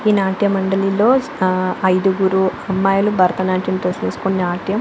ఈ నాట్య మండలిలో ఇద్దరు అమ్మాయిలు భారత నాట్యం డ్రెస్ వేసుకొని నాట్యం --